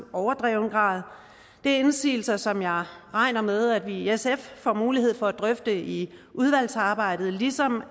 overdreven grad det er indsigelser som jeg regner med at vi i sf får mulighed for at drøfte i udvalgsarbejdet ligesom